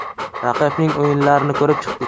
Raqibning o‘yinlarini ko‘rib chiqdik.